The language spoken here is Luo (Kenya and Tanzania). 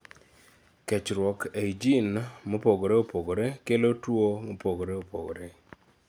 kechruok ei jin mopogore opogore kelo tuo ni ni mopogore opogore